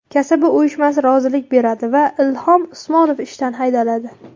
Kasaba uyushmasi rozilik beradi va Ilhom Usmonov ishdan haydaladi.